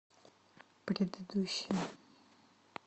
предыдущая